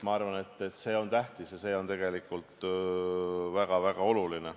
Ma arvan, et see on tähtis ja tegelikult väga-väga oluline.